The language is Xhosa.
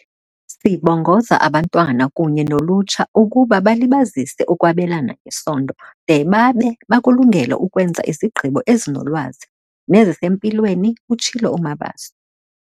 "Sibongoza abantwana kunye nolutsha ukuba balibazise ukwabelana ngesondo de babe bakulungele ukwenza izigqibo ezinolwazi nezisempilweni," utshilo uMabaso.